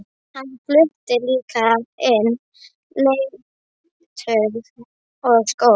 Hann flutti líka inn leirtau og skó.